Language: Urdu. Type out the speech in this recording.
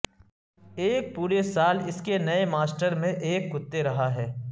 ایک پورے سال اس کے نئے ماسٹر میں ایک کتے رہا ہے